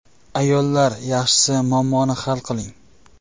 Ayollar, yaxshisi muammoni hal qiling.